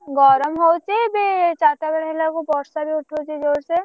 ଗରମ ହଉଛି ବି ଚାରିଟା ବେଳେ ହେଲା ବେଳକୁ ବର୍ଷା ବି ଉଠଉଛି ଜୋରସେ।